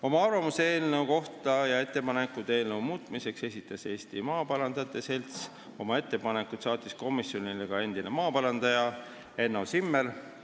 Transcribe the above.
Oma arvamuse eelnõu kohta ja ettepanekud selle muutmiseks esitas Eesti Maaparandajate Selts, oma ettepanekud saatis komisjonile ka endine maaparandaja Enno Zimmer.